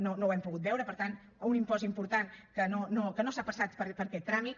no ho hem pogut veure per tant un impost important que no s’ha passat per aquest tràmit